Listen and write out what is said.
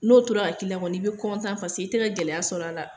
N'o tora ka k'i la kɔni, ii bɛ kɔntan paseke i tɛ ka gɛlɛya sɔrɔ a la.